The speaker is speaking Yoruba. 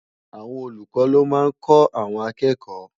Awòn ólúkò ló má n kò áwòn àkèkò